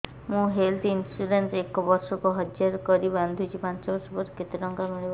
ମୁ health insurance ଏକ ବର୍ଷକୁ ହଜାର କରି ବାନ୍ଧୁଛି ପାଞ୍ଚ ବର୍ଷ ପରେ କେତେ ଟଙ୍କା ମିଳିବ